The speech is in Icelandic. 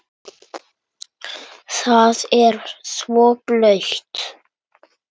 Það er svo blautt.